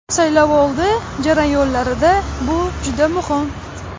Saylovoldi jarayonlarida bu juda muhim.